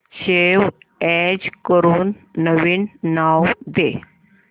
save as करून नवीन नाव दे